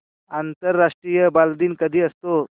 आंतरराष्ट्रीय बालदिन कधी असतो